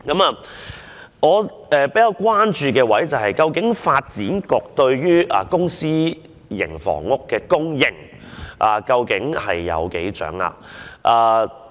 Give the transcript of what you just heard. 我比較關注的是，究竟發展局對公私營房屋的供應情況有多大掌握？